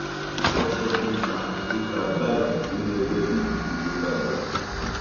kòso tó ta tó ta báyìí inú ẹgbẹ pdp ló balẹ sí